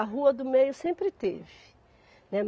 A rua do meio sempre teve, né.